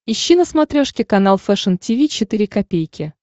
ищи на смотрешке канал фэшн ти ви четыре ка